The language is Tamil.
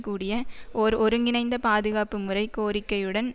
கூடிய ஓர் ஒருங்கிணைந்த பாதுகாப்பு முறை கோரிக்கையுடன்